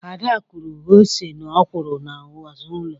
Ada kụrụ ose na ọkwụrụ n'azụ ụlọ.